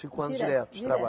Cinco anos direto de trabalho?